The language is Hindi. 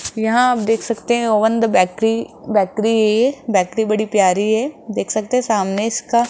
यहां आप देख सकते हैं one the bakery bakery bakery बड़ी प्यारी है देख सकते हैं सामने इसका--